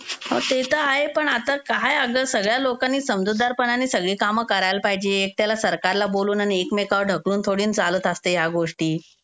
हा ते तर आहे आता पण काय अगं सगळ्या लोकांनी समजूतदारपणाने सगळी काम करायला पाहिजे. एकट्याला सरकारला बोलून आणि एकमेकावर ढकलून थोडी ना चालत असते या गोष्टी.